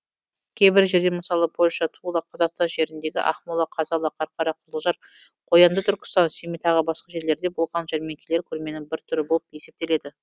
кейбір жерде мысалы польша тула қазақстан жеріндегі ақмола қазалы қарқара қызылжар қоянды түркістан семей тағы басқа жерлерде болған жәрмеңкелер көрменің бір түрі болып есептеледі